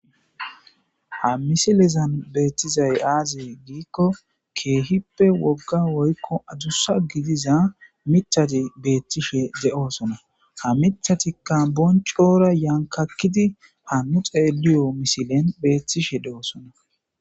Ha misilezan beetizay aazee giiko keehippe wogga woykko adusa gidiza miththati beetishe de'oosona. Ha mithatikka bonccora yankakidi ha nu xeeliyo misilen beetishe de'oosona.